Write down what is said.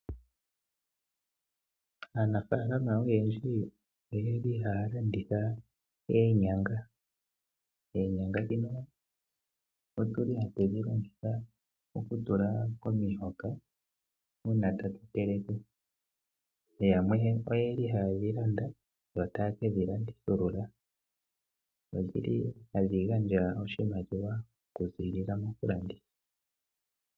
Aanafalama oyendji oyeli haya landitha oonyanga. Oonynga otuli hatu dhi longitha oku tula momihoka uuna tatu teleke, yamwe oyeli haye dhi landa yota kedhi landithilula, odhili hadhi gandja wo oshimaliwa oku zilila moku landitha.